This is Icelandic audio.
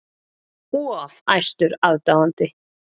Of æstur aðdáandi